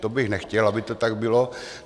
To bych nechtěl, aby to tak bylo.